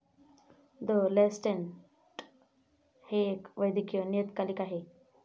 The Lancet हे एक वैदकीय नियतकालिक आहे.